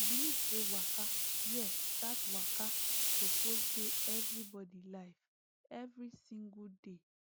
i believe say waka yes that waka suppose dey everybody life every single day